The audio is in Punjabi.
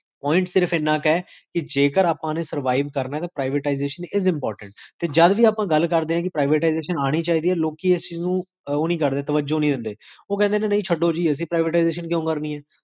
ਵੇਰ